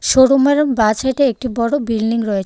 শোরুমের বাঁ ছাইডে একটি বড় বিল্ডিং রয়ে--